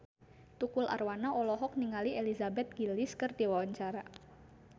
Tukul Arwana olohok ningali Elizabeth Gillies keur diwawancara